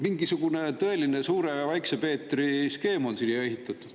Mingisugune tõeline suure ja väikse Peetri skeem on siia ehitatud.